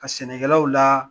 Ka sɛnɛkɛlaw la